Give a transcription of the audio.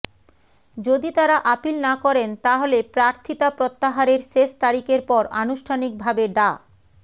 যদি তারা আপীল না করেন তাহলে প্রার্থিতা প্রত্যাহারের শেষ তারিখের পর আনুষ্ঠানিকভাবে ডা